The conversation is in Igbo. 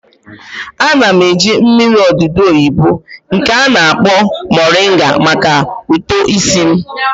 Ana m eji mmiri odudu oyibo nke a na-akpọ moringa maka uto isi m